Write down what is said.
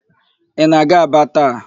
Ị na-aga Aba taa?